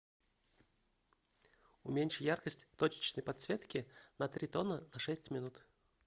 уменьши яркость точечной подсветки на три тона на шесть минут